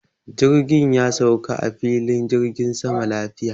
Jirgi ya sauka a filin jirgin sama lafiya.